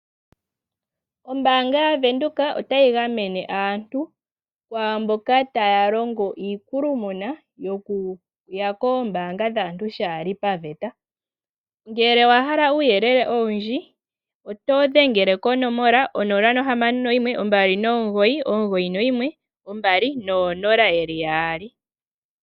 Ombaanga ya windhoek otayi gamene aantu kwaamboka taya longo iikulumuna yo Kuya koombanga dhaantu shaa hali pa vata. Ngele owa hala uuyelele owundji oyo dhengele ko 0612991200.